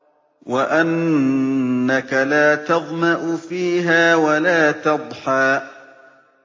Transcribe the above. وَأَنَّكَ لَا تَظْمَأُ فِيهَا وَلَا تَضْحَىٰ